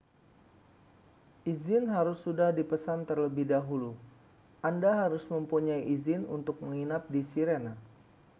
izin harus sudah dipesan terlebih dahulu anda harus mempunyai izin untuk menginap di sirena